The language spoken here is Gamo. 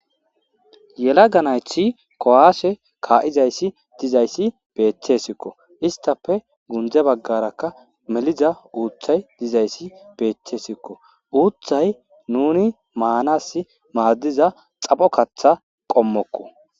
Yelaga nayti kowase kaa'izayssi dizayssi beettesikko istappe gunde baggarakka meliza uuththay dizayssi beettesikko uuththay nuni maanas maaddiza xapho katha qommokko